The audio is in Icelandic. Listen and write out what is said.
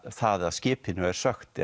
það að skipinu er sökkt